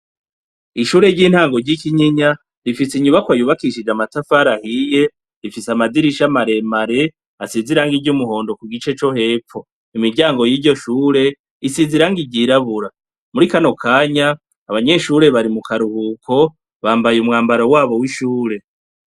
Ishure ryintango ryikinyinya rifise inyubakwa yubakishije amatafari ahiye, ifise amadirisha maremare asize irangi ry'umuhondo kugice co hepfo, imiryango yiryo shure isize irangi ryirabura muri kano kanya abanyeshure bari mukaruhuko bambaye umwambaro wabo wishure.